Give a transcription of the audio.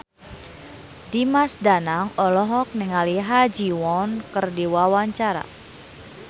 Dimas Danang olohok ningali Ha Ji Won keur diwawancara